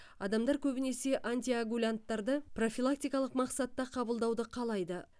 адамдар көбінесе антиоагулянттарды профилактикалық мақсатта қабылдауды қалайды